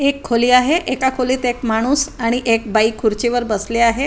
एक खोली आहे एका खोलीत मध्ये एक माणूस आणि एक बाई खुर्चीवर बसली आहे.